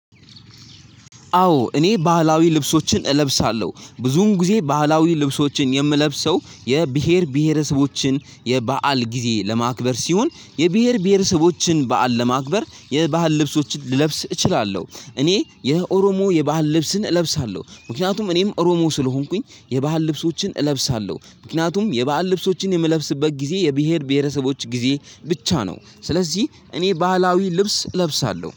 አዎ እኔ ባህላዊ ልብሶችን እለብሳለሁ። ብዙም ጊዜ ባህላዊ ልብሶችን የምለብሰው የብሄር ብሄረሰቦችን የበአል ጊዜ ለማክበር ሲሆን የብሄር ብሄረሰቦችን በዓል ለማክበር የባህል ልብሶችን ልለብስ እችላለሁ። እኔ የኦሮሞ የባህል ልብስን እለብሳለሁ ምክንያቱም እኔም ኦሮሞ ስለሆንኩኝ የባህል ልብሶችን እለብሳለሁ ምክንያቱም የባህል ልብሶችን የምለብስበት ጊዜ የብሄር ብሄረሰቦች ጊዜ ብቻ ነው ስለዚህ እኔ ባህላዊ ልብስ እለብሳለሁ።